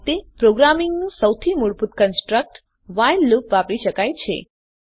આ રીતે પ્રોગ્રામીંગનું સૌથી મૂળભૂત કન્સ્ટ્રકટ વ્હાઇલ લુપ વાપરી શકાય છે